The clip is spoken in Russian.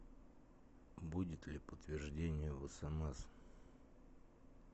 будет ли подтверждение в смс